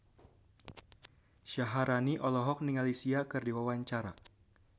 Syaharani olohok ningali Sia keur diwawancara